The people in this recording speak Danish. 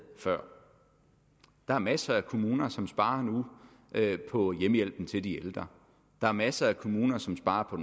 før der er masser af kommuner som sparer nu på hjemmehjælpen til de ældre der er masser af kommuner som sparer på